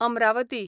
Amravati